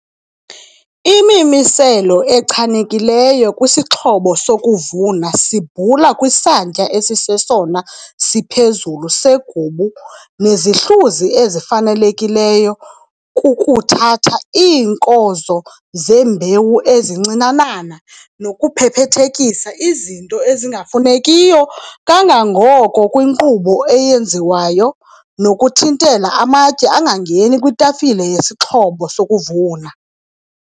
Imimiselo echanekileyo kwisixhobo sokuvuna sibhula kwisantya esisesona siphezulu segubu nezihluzi ezifanelekileyo kukuthatha iinkozo zembewu ezincinanana nokuphephethekisa izinto ezingafunekiyo kangangoko kwinkqubo eyenziwayo nokuthintela amatye angangeni kwitafile yesixhobo sokuvuna.